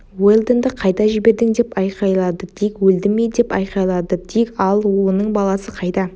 уэлдонды қайда жібердің деп айқайлады дик өлді ме деп айқайлады дик ал оның баласы қайда